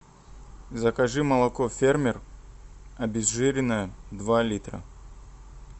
закажи молоко фермер обезжиренное два литра